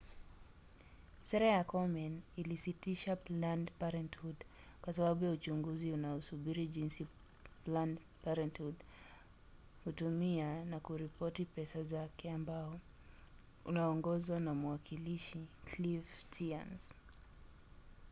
sera ya komen ilisitisha planned parenthood kwa sababu ya uchunguzi unaosubiri jinsi planned parenthood hutumia na kuripoti pesa zake ambao unaongozwa na mwakilishi cliff stearns